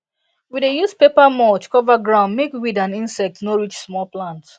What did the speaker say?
we dey use paper mulch cover ground make weed and insect no reach small plant